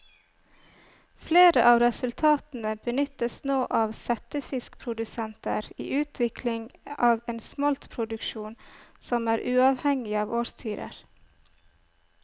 Flere av resultatene benyttes nå av settefiskprodusenter i utvikling av en smoltproduksjon som er uavhengig av årstider.